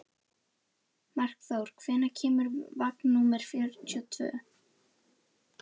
Meginástæður þess að evrópskar fjárfestingar í Kína eru ekki umfangsmeiri eru viðskiptahömlur og ótraust viðskiptaumhverfi.